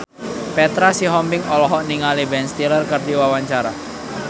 Petra Sihombing olohok ningali Ben Stiller keur diwawancara